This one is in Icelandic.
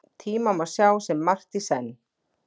Tíma má sjá sem margt í senn.